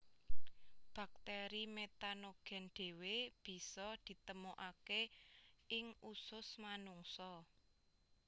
Bakteri metanogen dewe bisa ditemokake ing usus manungsa